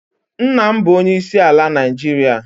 Nna m bụ onyeisi ala Naịjiria